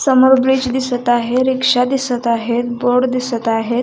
समोर ब्रिज दिसत आहे रिक्षा दिसत आहे बोर्ड दिसत आहेत.